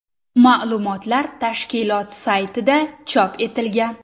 Ma’lumotlar tashkilot saytida chop etilgan .